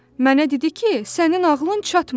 Mənə dedi ki, sənin ağlın çatmır.